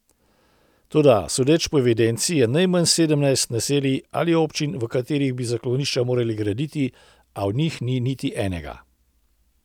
Toda sodeč po evidenci je najmanj sedemnajst naselij ali občin, v katerih bi zaklonišča morali graditi, a v njih ni niti enega.